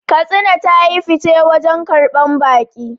Katsina ta yi fice wajen karbar baƙi